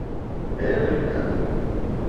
эврика